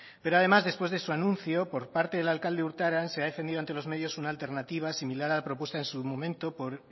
pero además después de su anuncio por parte del alcalde urtaran se ha defendido ante los medios una alternativa similar a la propuesta en su momento por